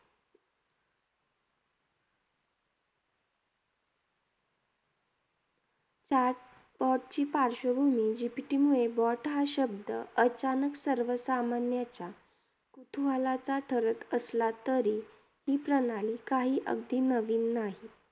Chatbot ची पार्श्वभूमी GPT मुळे BOT हा शब्द अचानक सर्वसामान्यच्या कुतूहलाचा ठरत असला तरी, ही प्रणाली अगदी काही नवीन नाही.